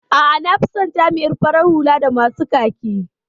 A'a, nafison jami'in farar hula da masu kaki.